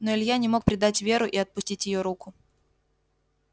но илья не мог предать веру и отпустить её руку